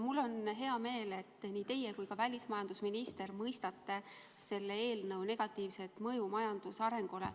Mul on hea meel, et nii teie kui ka väliskaubandusminister mõistate selle eelnõu negatiivset mõju majanduse arengule.